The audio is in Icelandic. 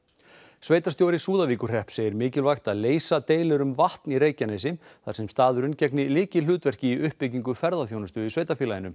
sveitarstjóri Súðavíkurhrepps segir mikilvægt að leysa deilur um vatn í Reykjanesi þar sem staðurinn gegni lykilhlutverki í uppbyggingu ferðaþjónustu í sveitarfélaginu